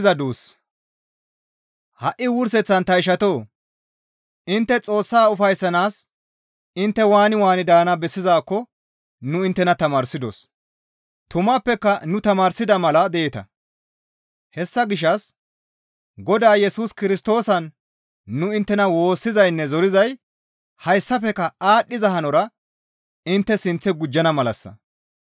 Ha7i wurseththan ta ishatoo! Intte Xoossa ufayssanaas intte waani waani daana bessizaakko nu inttena tamaarsidos; tumappeka nu tamaarsida mala deeta; hessa gishshas Godaa Yesus Kirstoosan nu inttena woossizaynne zorizay hayssafekka aadhdhiza hanora intte sinththe gujjana malassa.